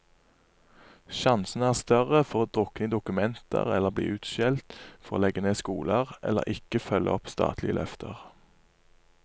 Sjansene er større for å drukne i dokumenter eller bli utskjelt for å legge ned skoler, eller ikke følge opp statlige løfter.